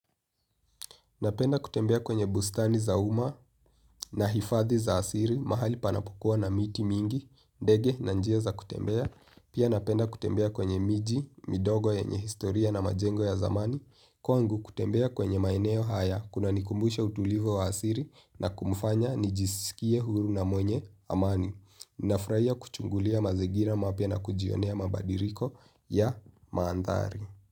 Napenda kutembea kwenye bustani za uma. Na hifadhi za siri, mahali panapokua na miti mingi, ndege na njia za kutembea, pia napenda kutembea kwenye miji midogo yenye historia na majengo ya zamani kwangu kutembea kwenye maeneo haya, kunanikumbisha utulivu wa asili na kunifanya nijiskie huru na mwenye amani. Nafurahia kuchungulia mazingira mapya na kujionea mabadiliko ya manthari.